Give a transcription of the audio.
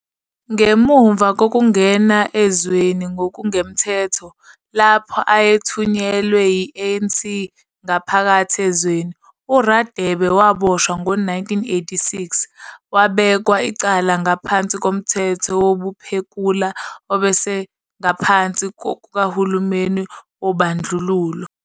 Ngemuva kokungena ezweni ngokungemthetho, lapho ayethunyelwe yi-ANC ngaphakathi ezweni, uRadebe waboshwa ngo-1986, wabekwa icala ngaphansi koMthetho wobuphekula obese- ngaphansi kukahulumeni wobandlululo.